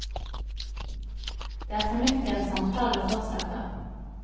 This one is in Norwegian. Det er fornuftig at samtalene fortsetter.